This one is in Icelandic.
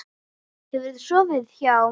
Hefurðu sofið hjá?